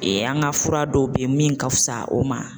an ka fura dɔw be yen min ka fisa o ma